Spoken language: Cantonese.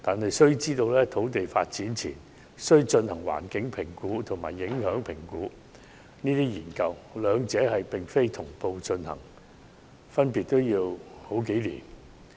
其實，土地發展前須進行環境評估及交通影響評估研究，兩者並非同步進行，分別需時數年。